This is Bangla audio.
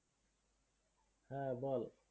হ্যাঁ বল।